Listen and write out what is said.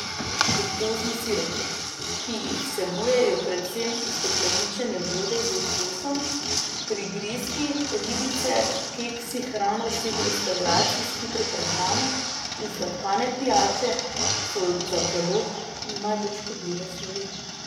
Fruktozni sirupi, ki jih vsebujejo predvsem ustekleničene vode z okusom, prigrizki, ribice, keksi, hrana vseh restavracij s hitro prehrano in sladkane pijače, so za telo najbolj škodljive snovi.